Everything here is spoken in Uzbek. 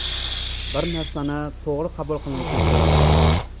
Bir narsa to‘g‘ri qabul qilinishini so‘rardim.